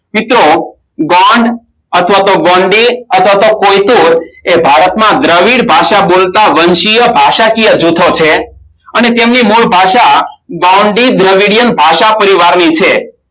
ચિત્રો ગોંડ અથવા તો ગોંડી અથવા તો પોયચું એ ભારતમાં દ્રવિડ ભાષા બોલતા વંશીય ભાષાકીય જૂથો છે અને તેમની બવ ભાષા ગોંડી દોડેડિયામ ભાષા પરિવારની છે